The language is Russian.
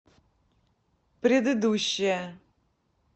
предыдущая